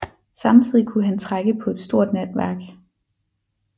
Samtidig kunne han trække på et stort netværk